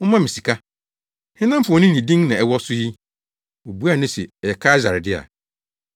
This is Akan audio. “Momma me sika. Hena mfoni ne din na ɛwɔ so yi?” Wobuaa no se, “Ɛyɛ Kaesare dea.”